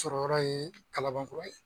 Sɔrɔ yɔrɔ ye Kalabankura ye.